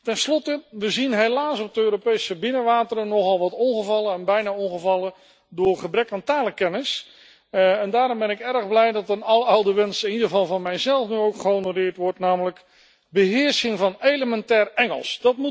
Ten slotte we zien helaas op de Europese binnenwateren nogal wat ongevallen en bijna ongevallen door gebrek aan talenkennis en daarom ben ik erg blij dat een aloude wens, in ieder geval van mijzelf, ook gehonoreerd wordt, namelijk beheersing van elementair Engels.